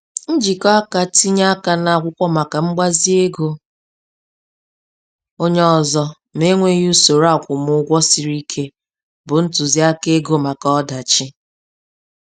Njikọ aka tinye aka n'akwụkwọ maka mgbazi ego onye ọzọ ma e nweghị usoro akwụmụgwọ siri ike bụ ntụziaka ego maka ọdachi